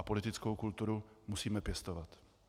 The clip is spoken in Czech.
A politickou kulturu musíme pěstovat.